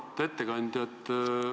Auväärt ettekandja!